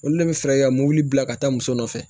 Olu de bɛ fɛɛrɛ kɛ ka mɔbili bila ka taa muso nɔfɛ